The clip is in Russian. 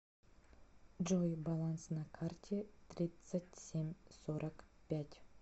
джой баланс на карте тридцать семь сорок пять